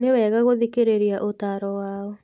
Nĩ wega gũthikĩrĩria ũtaaro wao.